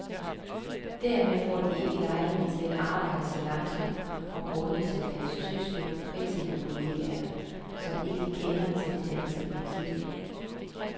Dermed får de ikke lejlighed til at arbejde så langsomt og grundigt som deres tyske kritikerkolleger, som ikke kender til det danske princip.